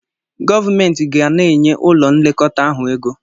Gọvumentị ga na-enye ụlọ nlekọta ahụ ego.